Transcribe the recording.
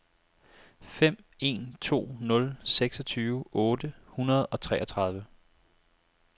fem en to nul seksogtyve otte hundrede og treogtredive